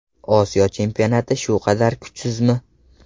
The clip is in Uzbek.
Osiyo chempionati shu qadar kuchsizmi?